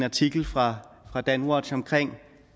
artikel fra danwatch om